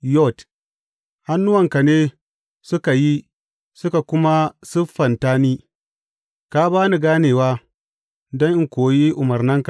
Yod Hannuwanka ne suka yi suka kuma siffanta ni; ka ba ni ganewa don in koyi umarnanka.